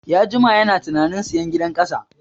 Ya jima yana tunanin sayan gidan ƙasa